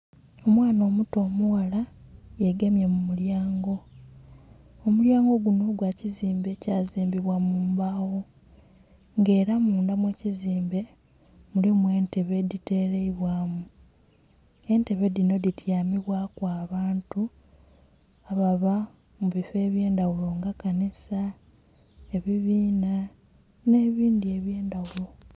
Omwana omuto omughala yegemye mu mulyango, omulyango gunho gwa kizimbe ekya zimbibwa mu mbagho nga era mundha mwe kizimbe mulimu entebe edhi teleibwamu entebe dhino dhityamibwaku abantu ababa mu bifoo ebye ndhaghulo nga kanisa, ebibinha nhe bindhi ebye ndhaghulo.